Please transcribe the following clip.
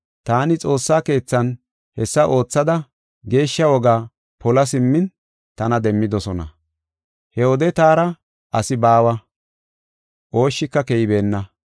Taani xoossa keethan hessa oothada geeshsha wogaa pola simmin tana demmidosona. He wode taara asi baawa, ooshshika keybeenna.